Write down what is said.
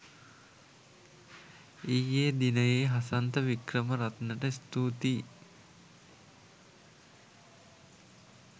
ඊයේ දිනයේ හසන්ත වික්‍රමරත්නට ස්තුතියි